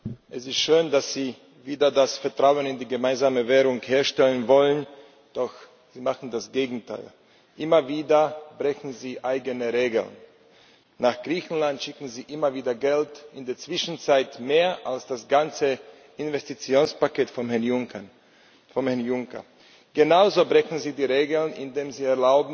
Frau Präsidentin, sehr geehrter Herr Dombrovskis! Es ist schön, dass Sie wieder das Vertrauen in die gemeinsame Währung herstellen wollen, doch Sie machen das Gegenteil. Immer wieder brechen Sie eigene Regeln. Nach Griechenland schicken Sie immer wieder Geld in der Zwischenzeit mehr als das ganze Investitionspaket von Herrn Juncker. Genauso brechen Sie die Regeln, indem